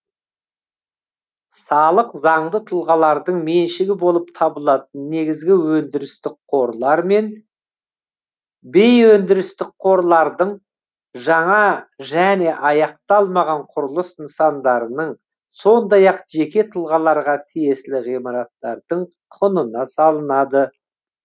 салық заңды тұлғалардың меншігі болып табылатын негізгі өндірістік қорлар мен бейөндірістік қорлардың жаңа және аяқталмаған құрылыс нысандарының сондай ақ жеке тұлғаларға тиесілі ғимараттардың құнына салынады